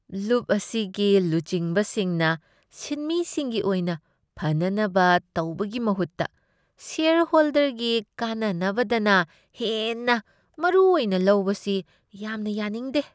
ꯂꯨꯞ ꯑꯁꯤꯒꯤ ꯂꯨꯆꯤꯡꯕꯁꯤꯡꯅ ꯁꯤꯟꯃꯤꯁꯤꯡꯒꯤ ꯑꯣꯏꯅ ꯐꯅꯅꯕ ꯇꯧꯕꯒꯤ ꯃꯍꯨꯠꯇ ꯁꯦꯌꯔꯍꯣꯜꯗꯔꯒꯤ ꯀꯥꯟꯅꯅꯕꯗꯅ ꯍꯦꯟꯅ ꯃꯔꯨꯑꯣꯏꯅ ꯂꯧꯕꯁꯤ ꯌꯥꯝꯅ ꯌꯥꯅꯤꯡꯗꯦ ꯫